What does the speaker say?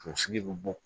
Kunsigi bɛ bɔ